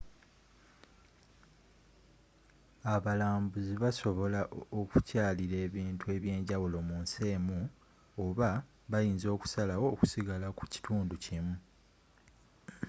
abalambuzi basobola okukyalira ebintu eby'enjawulo mu nsi emu oba bayinza okusalawo okusigala ku kitundu kimu